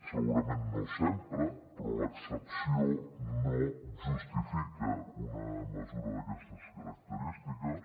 segurament no sempre però l’excepció no justifica una mesura d’aquestes característiques